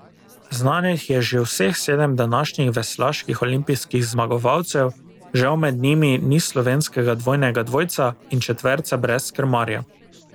Znanih je že vseh sedem današnjih veslaških olimpijskih zmagovalcev, žal med njimi ni slovenskega dvojnega dvojca in četverca brez krmarja.